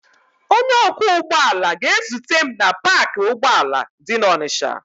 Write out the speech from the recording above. Onye ọkwọ ụgbọala ga-ezute m na paakị ụgbọala dị n'Ọnịcha.